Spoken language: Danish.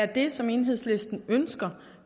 det som enhedslisten ønsker